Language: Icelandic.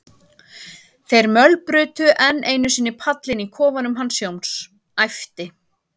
þeir mölbrutu enn einu sinni pallinn í kofanum hans Jóns, æpti